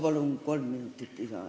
Palun kolm minutit lisaaega!